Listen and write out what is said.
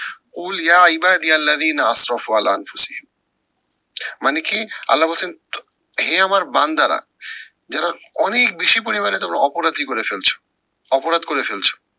মানে কি আল্লা বলছেন, হে আমার বান্দারা যারা অনেক বেশি পরিমানে তোমরা অপরাধী করে ফেলছো, অপরাধ করে ফেলছো